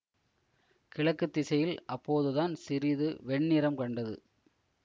கிழக்கு திசையில் அப்போது தான் சிறிது வெண்ணிறம் கண்டது